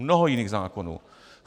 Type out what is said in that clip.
Mnoho jiných zákonů.